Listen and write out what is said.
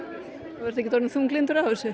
þú ert ekkert orðinn þunglyndur af þessu